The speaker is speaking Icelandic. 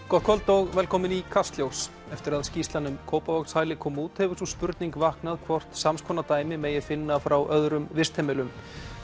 gott kvöld og velkomin í Kastljós eftir að skýrslan um Kópavogshæli kom út hefur sú spurning vaknað hvort sams konar dæmi megi finna frá öðrum vistheimilum